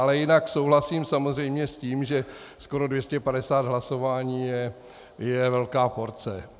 Ale jinak souhlasím samozřejmě s tím, že skoro 250 hlasování je velká porce.